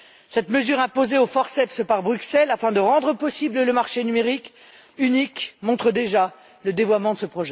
Cette mesure imposée au forceps par Bruxelles afin de rendre possible le marché numérique unique montre déjà le dévoiement de ce